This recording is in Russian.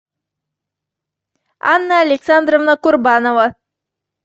анна александровна курбанова